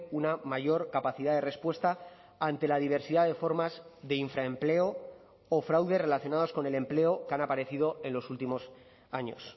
una mayor capacidad de respuesta ante la diversidad de formas de infraempleo o fraude relacionados con el empleo que han aparecido en los últimos años